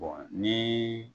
Bɔn nii